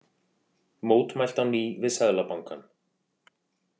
Mótmælt á ný við Seðlabankann